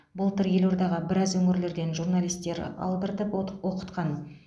былтыр елордаға біраз өңірлерден журналистер алдыртып отық оқытқан